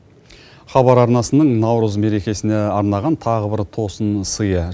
хабар арнасының наурыз мерекесіне арнаған тағы бір тосынсыйы